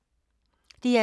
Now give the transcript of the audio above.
DR2